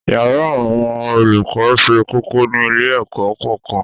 yàrá àwọn olùkọ sé kókó ní ilé-ẹ̀kọ́ kọ̀ọ̀kan